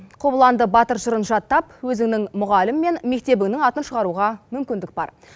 қобыланды батыр жырын жаттап өзіңнің мұғалім мен мектебінің атын шығаруға мүмкіндік бар